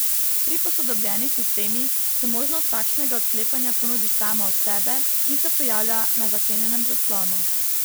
Pri posodobljenih sistemih se možnost takšnega odklepanja ponudi sama od sebe in se pojavlja na zaklenjenem zaslonu.